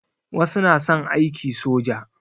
Wasu na son aiki soja.